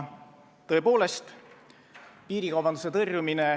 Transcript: Palun lisaaega!